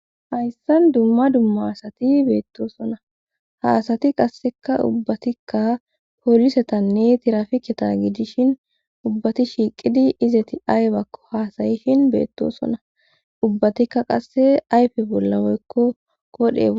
hayssan dumma dumma asati beettoosona haasati qasseka ubbatikka poolisetanne tirafiketa gidishin ubbati shiiqidi izati aybakko haasayishin beettosona ubbatikka qasse ayfe bollamoekko kodheo